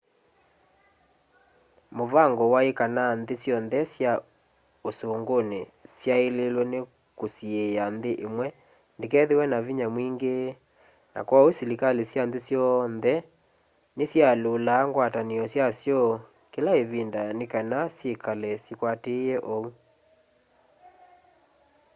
mũvango wai kana nthĩ syonthe sya ũsũngũnĩ syaĩlĩlwe nĩ kũsiĩa nthĩ ĩmwe ndĩkethĩwe na vinya mwingĩ na kwoou silikalĩ sya nthĩ syonthe nĩsyalyũlaa ngwatanĩo syasyo kĩla ĩvinda nĩkana syĩkale sikwatĩĩe ũu